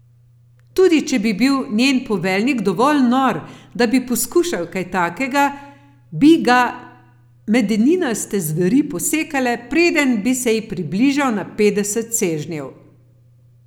Tudi če bi bil njen poveljnik dovolj nor, da bi poskušal kaj takega, bi ga Medeninaste zveri posekale, preden bi se ji približal na petdeset sežnjev.